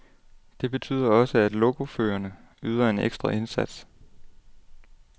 Det betyder også, at lokoførerne yder en ekstra indsats.